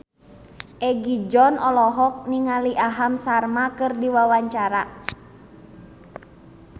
Egi John olohok ningali Aham Sharma keur diwawancara